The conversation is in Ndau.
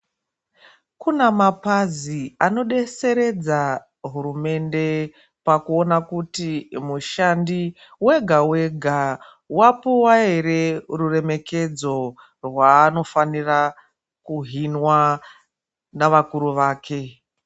Kunamapazi anodeseredza hurumende pakuona kuti mushandi wega wega wapuwa ere ruremekedzo rwaanofanira kuhinwa navakuru vake.